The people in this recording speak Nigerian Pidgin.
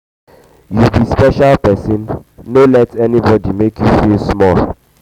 you be special person no let anybody make you feel small.